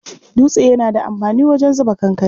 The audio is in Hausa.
Dutse yana da amfani wajen zuba kankare.